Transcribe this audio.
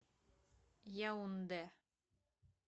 яунде